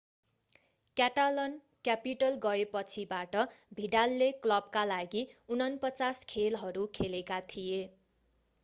Catalan capital गएपछिबाट भिडालले क्लबका लागि 49 खेलहरू खेलेका थिए